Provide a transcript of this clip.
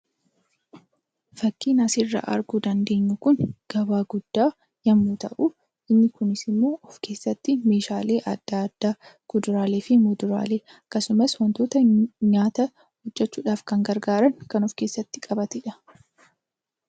Fakkiin asirra arguu dandeenyu kun gabaa guddaa yommuu ta'u, inni kunis immoo of keessatti meeshaalee adda addaa, kuduraalee fi muduraalee akkasumas wantoota nyaata hojjechuudhaaf kan gargaaran kan of keessatti qabateedha.